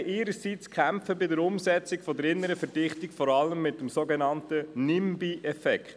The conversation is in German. Die Gemeinden ihrerseits kämpfen bei der Umsetzung der inneren Verdichtung vor allem mit dem sogenannten «Nimby»-Effekt.